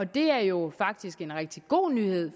det er jo faktisk en rigtig god nyhed